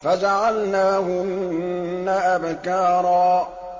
فَجَعَلْنَاهُنَّ أَبْكَارًا